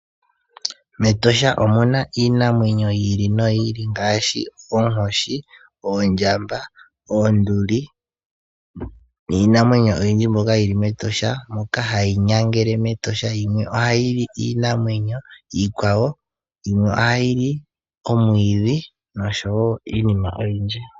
MEtosha omu na iinamwenyo yi ili noyi ili ngaashi Oonkoshi, Oondjamba, Oonduli niinamwenyo oyindji mbyoka yili me Etosha moka hayi nyangele mEtosha, yimwe ohayili iinamwenyo iikwawo yimwe ohayi li omwiidhi nosho wo iinima oyindji.